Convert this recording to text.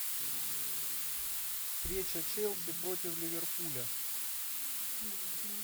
встреча челси против ливерпуля